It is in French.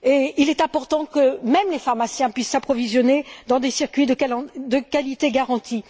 Il est important que même les pharmaciens puissent s'approvisionner dans des circuits de qualité garantie.